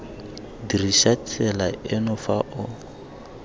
dirisa tsela eno fa o